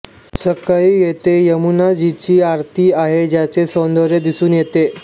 सकाळी येथे यमुनाजीची आरती आहे ज्याचे सौंदर्य दिसून येते